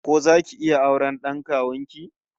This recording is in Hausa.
Ko zaki iya auren d'an kawun ki?